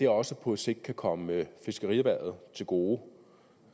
også på sigt kan komme fiskerierhvervet til gode